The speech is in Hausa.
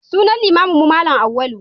Sunan limaminmu Malam Auwalu.